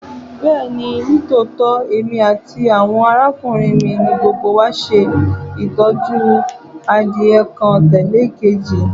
Bẹẹni, nitootọ emi ati awọn arakunrin mi ni gbogbo wa ṣe itọju adie adie kan tẹle ekeji